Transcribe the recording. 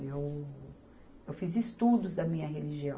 Eu, eu fiz estudos da minha religião.